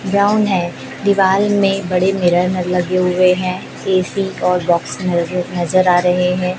Ground है दीवाल में बड़े मिरर लगे हुए हैं ए_सी और बॉक्स मुझे नजर आ रहे हैं।